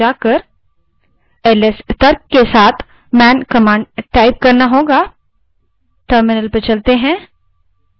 उदाहरण के लिए ls command के बारे में जानने के लिए आपको terminal पर जाना पड़ेगा